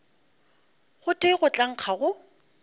gotee go tla nkga go